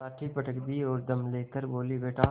लाठी पटक दी और दम ले कर बोलीबेटा